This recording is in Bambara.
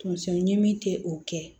Tonso ɲimi te o kɛ